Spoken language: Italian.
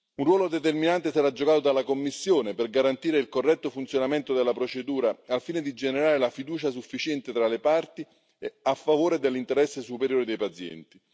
Un ruolo determinante sarà giocato dalla Commissione per garantire il corretto funzionamento della procedura, al fine di generare la fiducia sufficiente tra le parti a favore dell'interesse superiore dei pazienti.